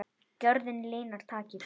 Gjörðin linar takið.